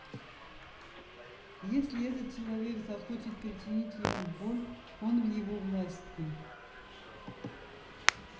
если этот человек захочет причинить ему боль он в его власти